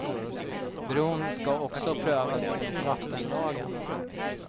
Bron ska också prövas enligt vattenlagen.